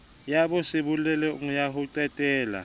ya bosebolelo ya ho qhelela